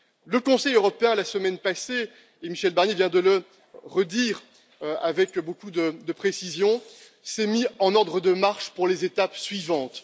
Le Conseil européen, la semaine passée et Michel Barnier vient de le redire avec beaucoup de précision s'est mis en ordre de marche pour les étapes suivantes.